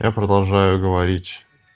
я продолжаю говорить